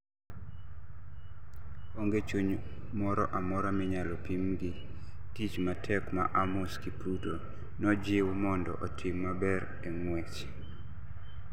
Onge chuny moro amora minyalo pim gi tich matek ma Amos Kipruto nojiw mondo otim maber e ng'wech